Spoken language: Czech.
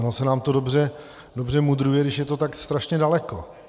Ono se nám to dobře mudruje, když je to tak strašně daleko.